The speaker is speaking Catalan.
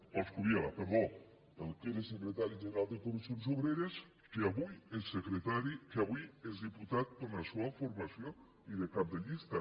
coscubiela perdó el que era secretari general de comissions obreres i que avui és diputat per la seua formació i cap de llista